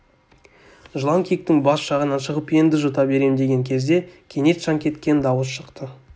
жылан киіктің бас жағынан шығып енді жұта берем деген кезде кенет шаңқеткен дауыс шықты